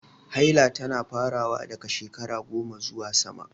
Haila tana farawa daga shekara 10 zuwa sama.